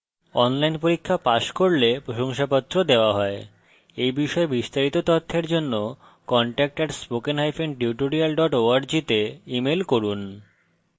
online পরীক্ষা pass করলে প্রশংসাপত্র দেওয়া হয় at বিষয়ে বিস্তারিত তথ্যের জন্য contact @spokentutorial org তে ইমেল করুন